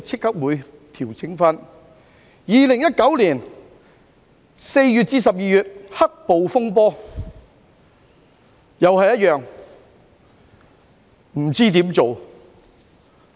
對於2019年4月至12月的"黑暴"風波，政府同樣不知如何處理。